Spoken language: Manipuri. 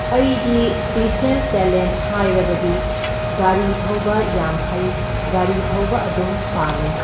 ꯑꯩꯒꯤ ꯁ꯭ꯄꯤꯁ꯭ꯌꯜ ꯇꯦꯂꯦꯟꯠ ꯍꯥꯏꯔꯕꯗꯤ ꯒꯥꯔꯤ ꯊꯧꯕ ꯌꯥꯝ ꯍꯩ, ꯒꯥꯔꯤ ꯊꯧꯕ ꯑꯗꯨꯝ ꯄꯥꯝꯃꯤ꯫